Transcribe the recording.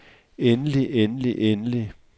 endelig endelig endelig